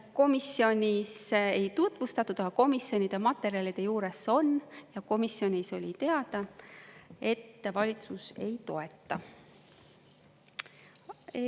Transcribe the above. Komisjonis ei tutvustatud, aga komisjonide materjalide juures see on ja komisjonis oli teada, et valitsus ei toeta.